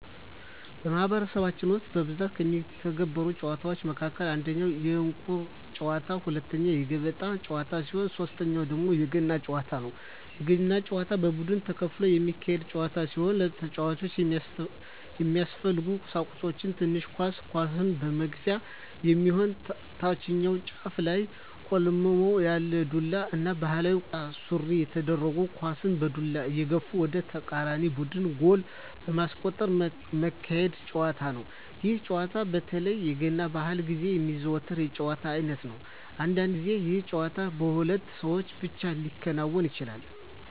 በማህበረሰባችን ውስጥ በብዛት ከሚዘወተሩ ጨዋታወች መካከል አንደኛ የእንቁር ጨዋታ፣ ሁለተኛ የገበጣ ጨዋታ ሲሆን ሶተኛው ደግሞ የገና ጨዋታ ነው። የገና ጨዋታ በቡድን ተከፍሎ የሚካሄድ ጨዋታ ሲሆን ለጨዋታው የሚያስፈልጉ ቀሳቁሶች ትንሽ ኳስ፣ ኳሷን መግፊያ የሚሆን ታችኛው ጫፉ ላይ ቆልመም ያለ ዱላ እና ባህላዊ ቁምጣ ሱሪ ተደርጎ ኳሳን በዱላ እየገፉ ወደ ተቃራኒ ቡድን ጎል በማስቆጠር ሚካሄድ ጨዋታ ነው። ይህ ጨዋታ በተለይ የገና በአል ግዜ የሚዘወተር የጨዋታ አይነት ነው። አንዳንድ ግዜ ይህ ጨዋታ በሁለት ሰው ብቻ ሊከናወን ይችላል።